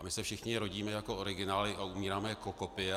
A my se všichni rodíme jako originály a umíráme jako kopie.